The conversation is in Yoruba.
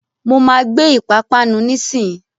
Mo máa gbé Ìpapánu nísìnyín.